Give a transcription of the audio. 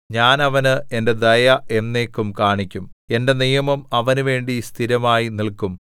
ഞാൻ അവന് എന്റെ ദയ എന്നേക്കും കാണിക്കും എന്റെ നിയമം അവനുവേണ്ടി സ്ഥിരമായി നില്ക്കും